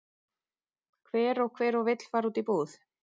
Hver og hver og vill fara út í búð?